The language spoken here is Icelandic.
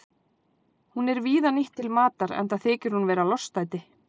Hún er víða nýtt til matar enda þykir hún vera lostæti.